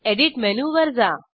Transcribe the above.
edit मेनूवर जा